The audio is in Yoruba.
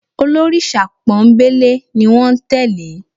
Olórìṣà pọ́nńbélé ni wọ́n tẹ́lẹ̀